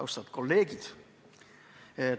Austatud kolleegid!